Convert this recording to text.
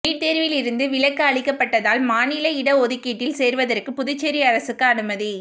NEET தேர்வில் இருந்து விலக்கு அளிக்கப்பட்டதால் மாநில இட ஒதுக்கீட்டில் சேர்வதற்கு புதுச்சேரி அரசுக்கு அனுமதி